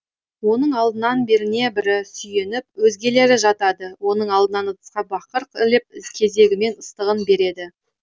оның алдынан біріне бірі сүйеніп өзгелері жатады оның алдынан ыдысқа бақыр іліп кезегімен ыстығын береді